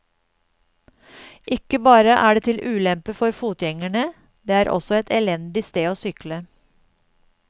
Ikke bare er det til ulempe for fotgjengerne, det er også et elendig sted å sykle.